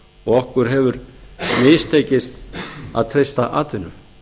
og okkur hefur mistekist að treysta atvinnu